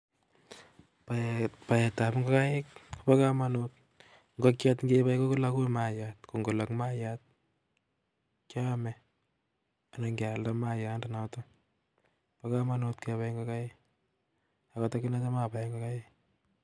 Baet ab ingokait kobo kamanut, ngokyet ngebai kologu mayat ko ngolok mayat keome anan kyalda mayat ndo noton, bo kamanut ngebai ngokaik ako agine tam abae ngokaik